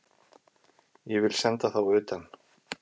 Ég vil senda þá utan!